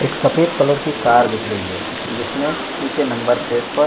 एक सफ़ेद कलर की कार दिख रही है जिसमें नीचे नंबर प्लेट पर --